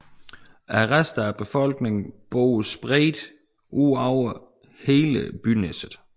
Resten af befolkningen bor spredt udover hele Byneset